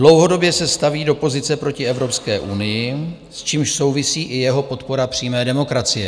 - Dlouhodobě se staví do pozice proti Evropské unii, s čímž souvisí i jeho podpora přímé demokracie.